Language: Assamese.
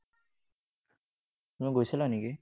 তুমি গৈছিলা নেকি?